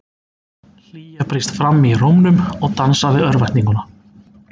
Hlýja brýst fram í rómnum og dansar við örvæntinguna.